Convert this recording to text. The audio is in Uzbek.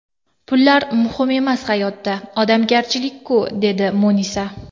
Pullar muhim emas hayotda, odamgarchilik-ku, dedi Munisa.